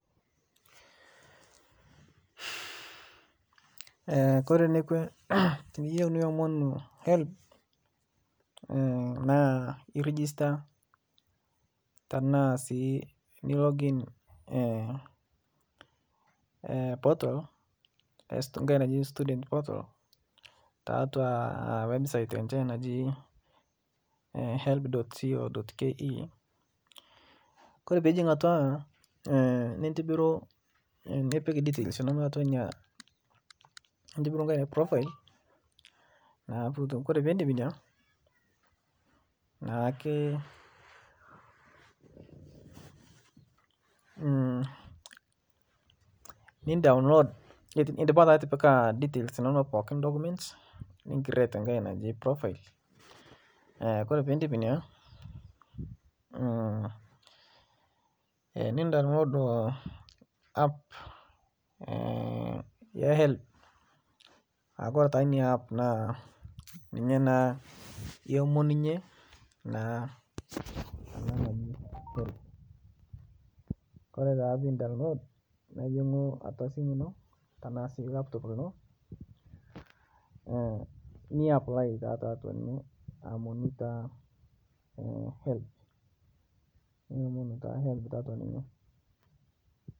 Kore nekwe tiniyeu niomonuu helb naa irigista tanaa sii i login portal ng'hai naji student portal taatua website enshe naji helb.co.ke kore pijing' atua nintibiruu nipik details inonoo atua inia nintibiruu ng'hai naji profile naa putuu kore pindip inia naake , nin-download indipaa taa atipika details inonoo pookin documents nin create ng'hai naji profile kore piindip inia nin download app ee helb aakore taa inia app naa ninye naa iomonunyee naa ana naji helb . Kore taa pin download nejingu atua simu tanaa sii laptop linoo ni apply taa taatua amu aomonuu taa helb niomonuu taa helb taatua ninyee.